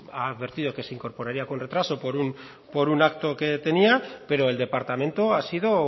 ha advertido que se incorporaría con retraso por un acto que tenía pero el departamento ha sido